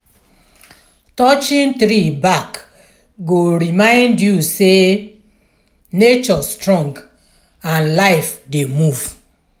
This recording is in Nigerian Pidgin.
touching tree bark go remind you say nature strong and life dey move.